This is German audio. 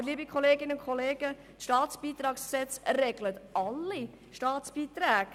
Aber, liebe Kolleginnen und Kollegen, das StBG regelt alle Staatsbeiträge.